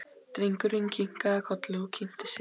Drengurinn kinkaði kolli og kynnti sig.